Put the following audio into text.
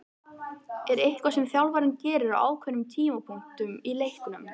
Er eitthvað sem þjálfarinn gerir á ákveðnum tímapunktum í leiknum?